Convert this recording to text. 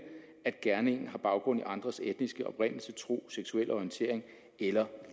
at gerningen har baggrund i andres etniske oprindelse tro seksuel orientering eller